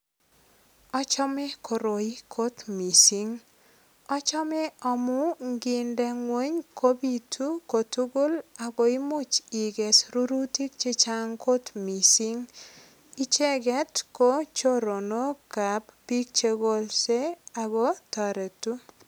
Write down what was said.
Achome koroi kot mising. Achome amu nginde ingweny kopitu kotugul ak koimuch iges rurutik che chang kot mising. Icheget ko choronokab biik che kolse ago toretu.